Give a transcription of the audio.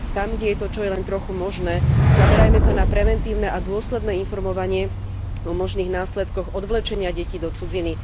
Tam, kde je to čo i len trochu možné, zamerajme sa na preventívne a dôsledné informovanie o možných následkoch odvlečenia detí do cudziny.